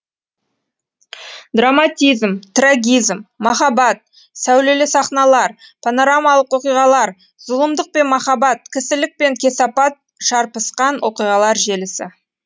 драматизм трагизм махаббат сәулелі сахналар панорамалық оқиғалар зұлымдық пен махаббат кісілік пен кесапат шарпысқан оқиғалар желісі